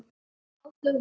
Áslaug og Hilmar.